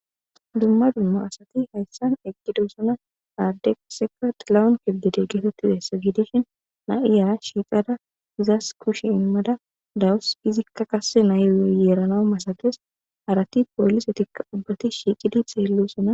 dumma dumma asati hayssan eqqidosana ardeseqat lawun kibdede getotizassa gidishin na7iya shiiqada izas kushe immada dawus izikka kasse nayyeerana masages arati poollisetikka ubbati shiiqidi xeellosona